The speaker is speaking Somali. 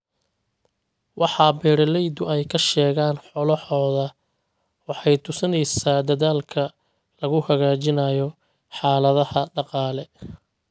Waxa beeralaydu ay ka sheegaan xoolahooda waxay tusinaysaa dadaalka lagu hagaajinayo xaaladaha dhaqaale.